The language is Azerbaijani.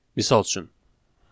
Misal üçün.